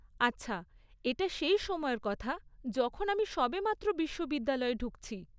আচ্ছা, এটা সেই সময়ের কথা যখন আমি সবেমাত্র বিশ্ববিদ্যালয়ে ঢুকছি।